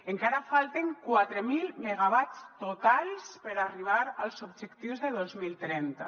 encara falten quatre mil megawatts totals per arribar als objectius de dos mil trenta